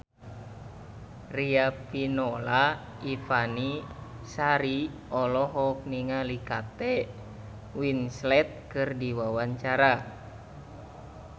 Riafinola Ifani Sari olohok ningali Kate Winslet keur diwawancara